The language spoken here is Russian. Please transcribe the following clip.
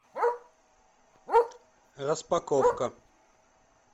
распаковка